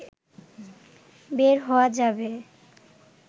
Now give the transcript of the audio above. বের হওয়া যাবে